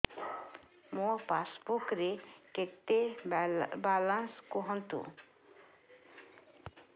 ମୋ ପାସବୁକ୍ ରେ କେତେ ବାଲାନ୍ସ କୁହନ୍ତୁ